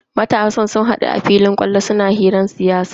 Matasan sun hadu a filin kwallo suna hirar siyasa.